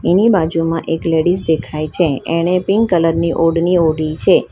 એની બાજુમાં એક લેડીઝ દેખાઈ છે એણે પિંક કલર ની ઓઢણી ઓઢી છે.